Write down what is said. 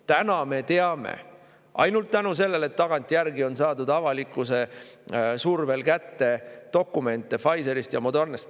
" Täna me teame ainult tänu sellele, et tagantjärgi avalikkuse survel on saadud kätte dokumente Pfizerist ja Modernast.